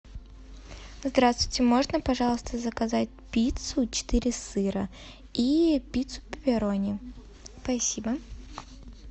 здравствуйте можно пожалуйста заказать пиццу четыре сыра и пиццу пепирони спасибо